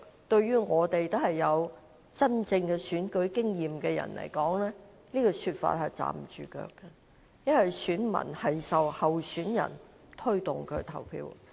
對我們這些有真正選舉經驗的人來說，這說法是站不住腳的，因為選民會受候選人推動而投票。